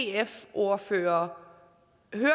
ordfører